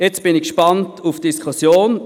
Jetzt bin ich gespannt auf die Diskussion.